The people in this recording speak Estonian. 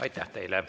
Aitäh!